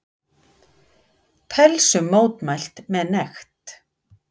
Pelsum mótmælt með nekt